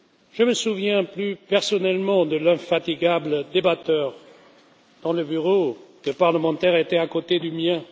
Je me souviens plus personnellement de l'infatigable débatteur dont le bureau de parlementaire était à côté du mien.